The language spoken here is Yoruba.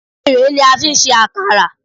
Erèé ni a fi ń ṣe àkàrà.